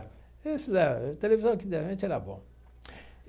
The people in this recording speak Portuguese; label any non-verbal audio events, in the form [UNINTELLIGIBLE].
A televisão aqui da [UNINTELLIGIBLE] era bom.